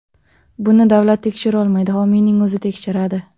Buni davlat tekshirolmaydi, homiyning o‘zi tekshiradi.